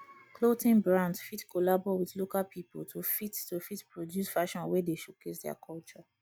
clothing brands fit collabo with local pipo to fit to fit produce fashion wey dey showcase their culture